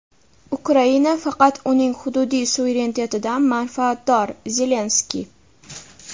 Ukraina faqat uning hududiy suverenitetidan manfaatdor – Zelenskiy.